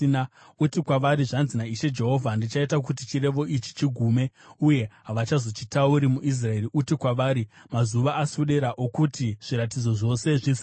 Uti kwavari, ‘Zvanzi naIshe Jehovha: Ndichaita kuti chirevo ichi chigume, uye havachazochitauri muIsraeri.’ Uti kwavari, ‘Mazuva aswedera okuti zviratidzo zvose zvizadziswe.